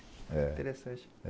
Interessante.